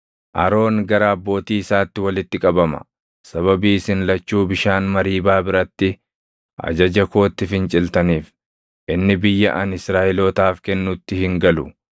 “Aroon gara abbootii isaatti walitti qabama. Sababii isin lachuu bishaan Mariibaa biratti ajaja kootti finciltaniif, inni biyya ani Israaʼelootaaf kennutti hin galu.